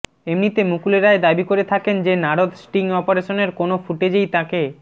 এমনিতে মুকুল রায় দাবি করে থাকেন যে নারদ স্টিং অপারেশানের কোনও ফুটেজেই তাঁকে